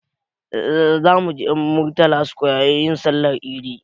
Za mu je murtala square yin Sallar idi